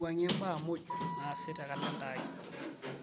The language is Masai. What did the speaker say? wuangie mbaa muuj naasi te kalenda aai